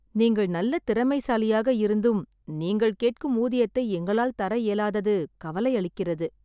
நீங்கள் நல்ல திறமைசாலியாக இருந்தும் நீங்கள் கேட்கும் ஊதியத்தை எங்களால் தர இயலாதது கவலையளிக்கிறது.